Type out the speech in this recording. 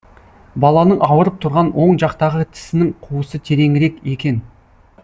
баланың ауырып тұрған оң жақтағы тісінің қуысы тереңірек екен